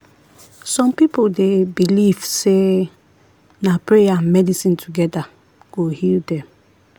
some people dey belief sey na prayer and medicine together go heal them.